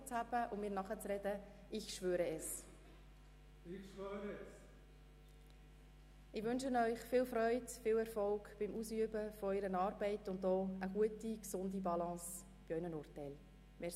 Ich wünsche Ihnen, Herrn Daniel Gerber, viel Freude und Erfolg beim Ausüben Ihrer Aufgabe und eine gesunde Balance bei Ihren Urteilen.